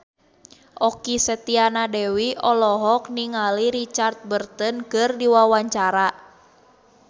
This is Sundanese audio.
Okky Setiana Dewi olohok ningali Richard Burton keur diwawancara